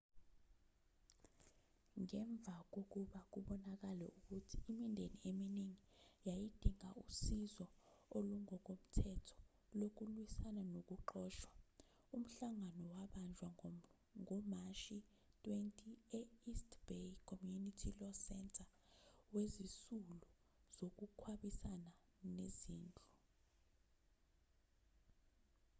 ngemva kokuba kubonakale ukuthi imindeni eminingi yayidinga usizo olungokomthetho lokulwisana nokuxoshwa umhlangano wabanjwa ngomashi 20 e-east bay community law center wezisulu zokukhwabanisa kwezindlu